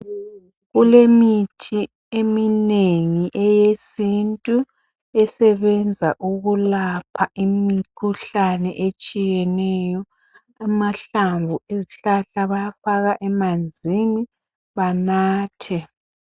Kulemithi eminengi eyesintu esebenza ukulapha imikhuhlane etshiyeneyo, amahlamvu ezihlahla bayafaka emanzini banathe.